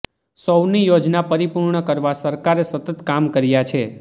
સૌની યોજના પરિપૂર્ણ કરવા સરકારે સતત કામ કર્યા છે